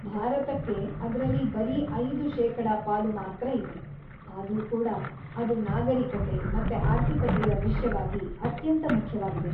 ಭಾರತಕ್ಕೆ ಅದ್ರಲ್ಲಿ ಬರೀ ಐದು ಶೇಕಡಾ ಪಾಲು ಮಾತ್ರ ಇದೆ, ಆದ್ರೂ ಕೂಡ ಅದು ನಾಗರೀಕತೆ, ಮತ್ತೆ ಆರ್ಥಿಕತೆಯ ವಿಷ್ಯವಾಗಿ ಅತ್ಯಂತ ಮುಖ್ಯವಾಗಿದೆ.